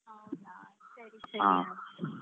ಹೌದಾ ಸರಿ ಸರಿ ಆಯ್ತು.